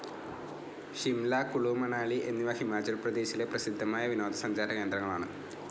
ഷിംല, കുളു, മനാലി എന്നിവ ഹിമാചൽ പ്രദേശിലെ പ്രസിദ്ധമായ വിനോദ സഞ്ചാരകേന്ദ്രങ്ങളാണ്.